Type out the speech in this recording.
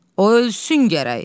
O ölsün gərək.